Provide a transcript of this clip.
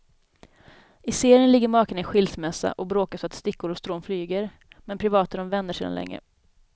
I serien ligger makarna i skilsmässa och bråkar så att stickor och strån flyger, men privat är de vänner sedan länge.